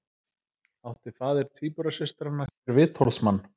Átti faðir tvíburasystranna sér vitorðsmann